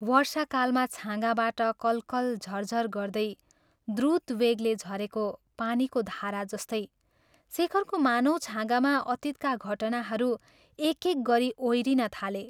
वर्षाकालमा छाँगाबाट कलकल झरझर गर्दै द्रुत वेगले झरेको पानीको धारा जस्तै शेखरको मानव छाँगामा अतीतका घटनाहरू एक एक गरी ओइरिन थाले।